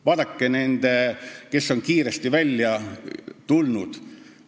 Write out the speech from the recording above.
Vaadake neid, kes on kiiresti oma jutuga välja tulnud.